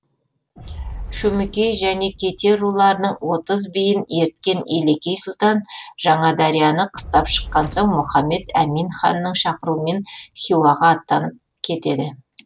шөмекей және кете руларының отыз биін ерткен елекей сұлтан жаңадарияны қыстап шыққан соң мұхаммед әмин ханның шақыруымен хиуаға аттанып кетеді